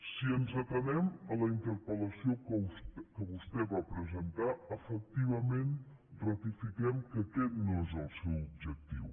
si ens atenem a la interpel·lació que vostè va presentar efectivament ratifiquem que aquest no és el seu objectiu